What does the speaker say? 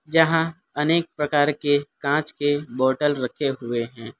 यहां अनेक प्रकार के कांच के बोटल रखे हुए हैं।